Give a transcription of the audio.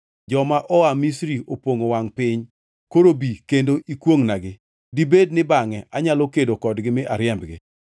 ‘Joma oa Misri opongʼo wangʼ piny. Koro bi kendo ikwongʼnagi. Dibed ni bangʼe anyalo kedo kodgi mi ariembgi.’ ”